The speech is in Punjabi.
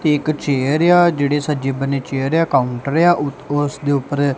ਤੇ ਇੱਕ ਚੇਅਰ ਏ ਆ ਜਿਹੜੇ ਸੱਜੇ ਬੰਨੇ ਚੇਅਰ ਏ ਆ ਕਾਊਂਟਰ ਏ ਆ ਉਤੋਂ ਉਸ ਦੇ ਉੱਪਰ--